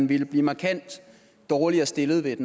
ville blive markant dårligere stillet ved et